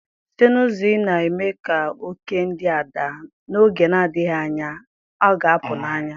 Site n'ụzọ ị na-eme ka oke ndị a daa, n'oge na-adịghị anya, ọ ga-apụ n'anya.